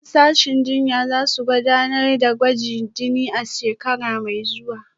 Daliban sashen jinya za su gudanar da gwajin jini a shekara mai zuwa